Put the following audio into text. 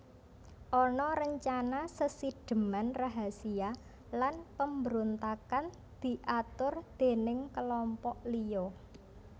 Ana rencana sesidheman rahasia lan pambrontakan diatur déning kelompok liya